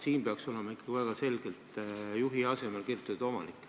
Siin peaks olema ikkagi väga selgelt "juhi" asemel kirjutatud "omanik".